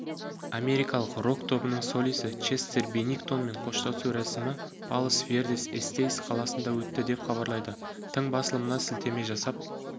америкалық рок-тобының солисі честер беннингтонмен қоштасу рәсімі палос-вердес-эстейс қаласында өтті деп хабарлайды тың басылымына сілтеме жасап